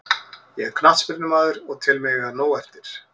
Ég er knattspyrnumaður og tel mig eiga nóg eftir.